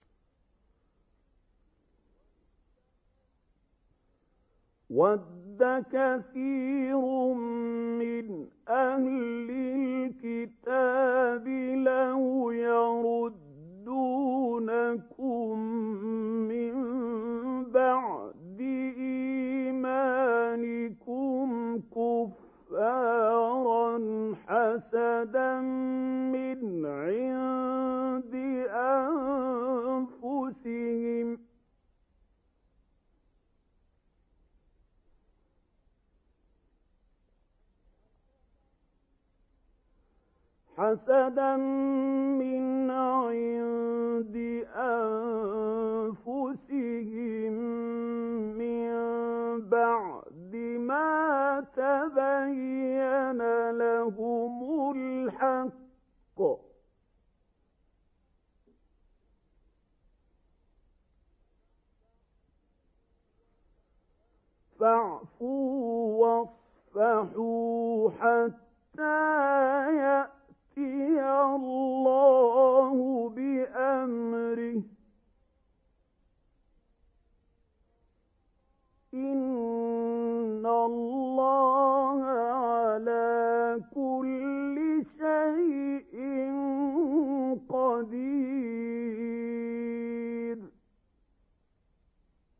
وَدَّ كَثِيرٌ مِّنْ أَهْلِ الْكِتَابِ لَوْ يَرُدُّونَكُم مِّن بَعْدِ إِيمَانِكُمْ كُفَّارًا حَسَدًا مِّنْ عِندِ أَنفُسِهِم مِّن بَعْدِ مَا تَبَيَّنَ لَهُمُ الْحَقُّ ۖ فَاعْفُوا وَاصْفَحُوا حَتَّىٰ يَأْتِيَ اللَّهُ بِأَمْرِهِ ۗ إِنَّ اللَّهَ عَلَىٰ كُلِّ شَيْءٍ قَدِيرٌ